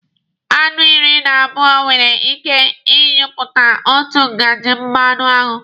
Aṅụ iri na abụọ nwere ike ị nyụpụta otu ngaji mmanụaṅụ.